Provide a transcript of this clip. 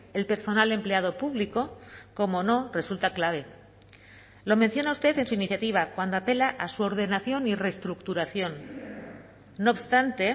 el personal empleado público cómo no resulta clave lo menciona usted en su iniciativa cuando apela a su ordenación y reestructuración no obstante